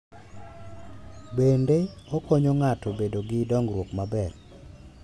Bende, okonyo ng’ato bedo gi dongruok maber.